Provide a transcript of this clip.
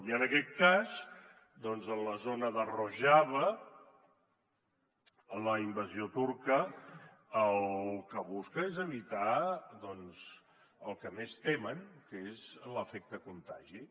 i en aquest cas doncs a la zona de rojava la invasió turca el que busca és evitar el que més temen que és l’efecte contagi